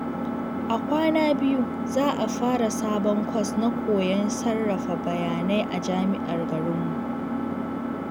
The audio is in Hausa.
A kwana biyu, za a fara sabon kwas na koyon sarrafa bayanai a jami’ar garinmu.